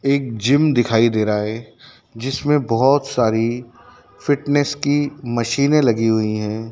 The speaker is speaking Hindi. एक जिम दिखाई दे रहा है जिसमें बहोत सारी फिटनेस की मशीने लगी हुई है।